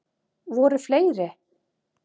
Voru fleiri?